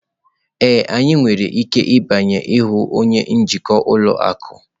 Ee, anyị nwere ike ịbanye ịhụ onye njikwa ụlọ akụ.